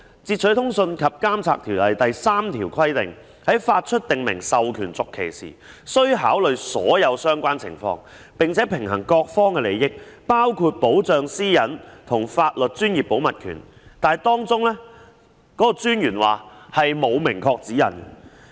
《截取通訊及監察條例》第3條規定，將訂明授權續期時，須考慮所有相關情況，並平衡各方利益，包括保障私隱和法律專業保密權，但專員指出條例並沒有明確的指引。